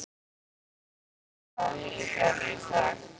Tindri, hvaða vikudagur er í dag?